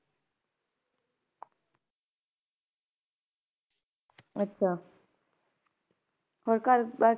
ਅੱਛਾ ਹੋਰ ਘਰ ਬਾਰ,